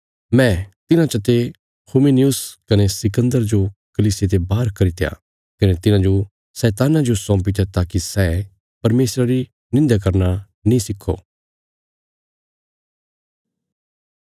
मैं तिन्हां चते हुमिनयुस कने सिकन्दर जो कलीसिया ते बाहर करित्या कने तिन्हांजो शैतान्ना जो सौपीत्या ताकि सै परमेशरा री निंध्या करना नीं सिखो